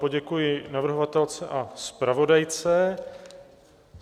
Poděkuji navrhovatelce a zpravodajce.